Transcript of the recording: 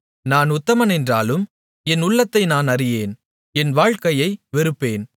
நான் உத்தமனென்றாலும் என் உள்ளத்தை நான் அறியேன் என் வாழ்க்கையை வெறுப்பேன்